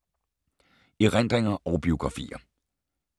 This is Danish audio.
Erindringer og biografier